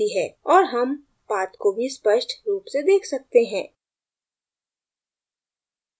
और हम paths को भी स्पष्ट रूप से देख सकते हैं